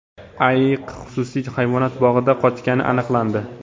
Ayiq xususiy hayvonot bog‘idan qochgani aniqlandi.